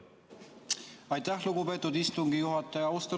Aitäh, lugupeetud istungi juhataja!